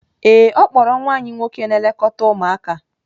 Ee e, ọ kpọọrọ nwa anyị nwoke na-elekọta ụmụaka.